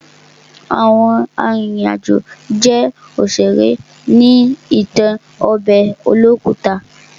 Àwọn arìnrìn àjò jẹ́ òṣèré ní ìtàn ọbẹ̀ olókùta.